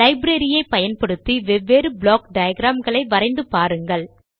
library ஐ பயன்படுத்தி வெவ்வேறு ப்ளாக் டயாகிராம் களை வரைந்து பாருங்கள்